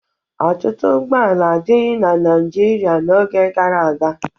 Ọtụtụ ụgbọala adịghị na Naịjirịa n'oge gara aga.